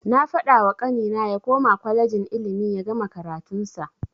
Na fadawa kanina ya koma kwalejin ilimi yagama karatun sa.